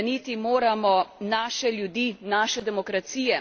Ubraniti moramo naše ljudi, naše demokracije.